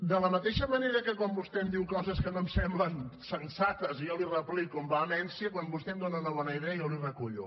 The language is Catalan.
de la mateixa manera que quan vostè em diu coses que no em semblen sensates i jo li replico amb vehemència quan vostè em dóna una bona idea jo la hi recullo